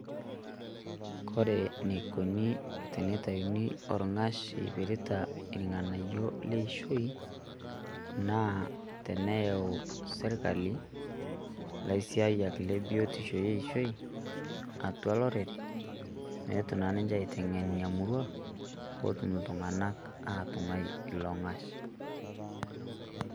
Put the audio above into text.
Kore neikoni tenetayuni olng'ash oipirrta ilng'anayio leishoi, naa teneyau sirkali laisiyaak le biotisho eishoi atua lorere meetu naa ninchee aiteng'ene nia murrua poo otum ltung'anak atung'ai long'ash.